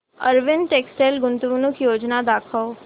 Arvind textile गुंतवणूक योजना दाखव